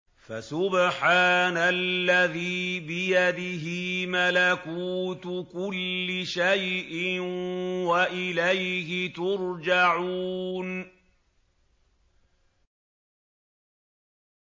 فَسُبْحَانَ الَّذِي بِيَدِهِ مَلَكُوتُ كُلِّ شَيْءٍ وَإِلَيْهِ تُرْجَعُونَ